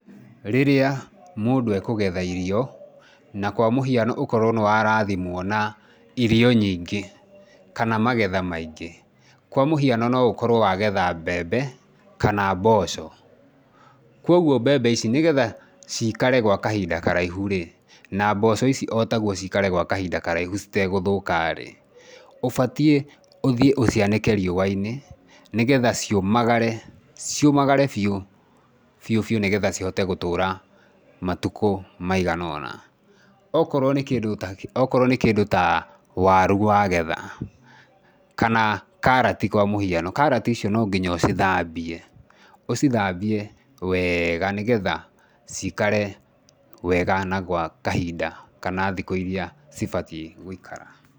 Rĩrĩa mũndũ ekũgetha irio na kwa mũhiano ũkorwo nĩ wa rathimwo na irio nyingĩ kana magetha maingĩ, kwa mũhiano no ũkorwo wagetha mbembe kana mboco. Kwoguo mbembe ici nĩgetha ciikare gwa kahinda karaihu rĩ, na mboco ici o taguo ciikare gwa kahinda karaihu citegũthũka rĩ, ũbatiĩ ũthiĩ ũcianĩke riũa-inĩ, nĩgetha ciũmagare, ciũmagare biũ, biũ biũ nĩgetha cihote gũtũra matũkũ maigana ũna. Ũkorwo nĩ kĩndũ ta waru wagetha, kana karati kwa mũhiano, karati icio no nginya ũcithambie, ũcithambie wega, nĩgetha ciikare wega na gwa kahinda kana thikũ iria cibatiĩ gũikara.